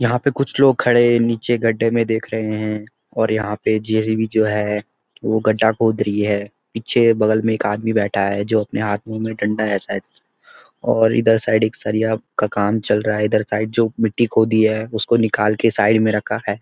यहां पे कुछ लोग खड़े नीचे गढ्ढे में देख रहे हैं और यहां पे जे.सी.बी जो है वो गढ्ढा खोद रही है। पीछे बगल में एक आदमी बैठा है जो अपने हाथ में डंडा है शायद और इधर साईड सरिया का काम चल रहा है इधर साईड जो मिट्टी खोदी है उसको निकाल के साईड में रखा है।